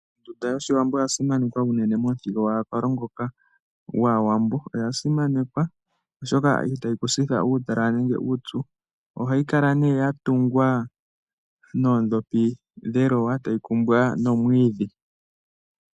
Ondunda yOshiwambo oya simanekwa unene momuthigululwakalo ngoka gwAawambo. Oya simanekwa oshoka ita yi ku sitha uutalala nenge uupyu. Ohayi kala nduno ya tungwa noondhopi dhelowa e ta yi kumbwa nomwiidhi.